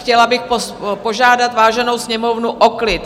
Chtěla bych požádat váženou Sněmovnu o klid.